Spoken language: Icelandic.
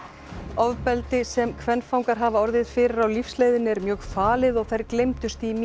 ofbeldi sem kvenfangar hafa orðið fyrir á lífsleiðinni er mjög falið og þær gleymdust í